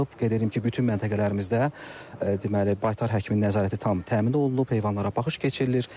Qeyd edim ki, bütün məntəqələrimizdə deməli, baytar həkimi nəzarəti tam təmin olunub, heyvanlara baxış keçirilir.